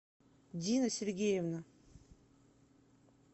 дина сергеевна